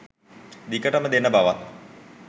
දිගටම දෙන බවත්